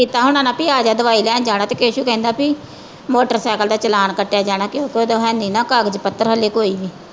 ਕੀਤਾ ਹੋਣਾ ਭੀ ਆਜਾ ਦਵਾਈ ਲੈਣ ਜਾਣਾ ਤੇ ਕੇਸ਼ੂ ਕਹਿੰਦਾ ਭੀ ਮੋਟਰ ਸਾਇਕਲ ਦਾ ਚਲਾਨ ਕੱਟਿਆ ਜਾਣਾ ਕਿ ਨਾ ਕਾਗ਼ਜ਼ ਪੱਤਰ ਹਾਲੇ ਕੋਈ ਨਈਂ।